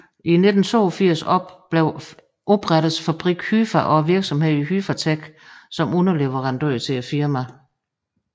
I 1982 oprettedes fabrikken Hyfa og virksomheden Hyfatek som underleverandør til firmaet